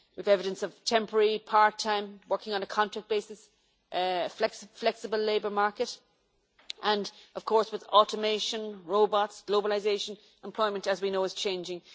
There is evidence of temporary, part-time working on a contract basis, flexible labour market and, of course, with automation, robots and globalisation, employment as we know it is changing.